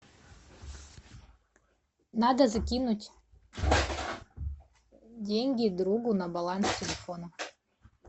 надо закинуть деньги другу на баланс телефона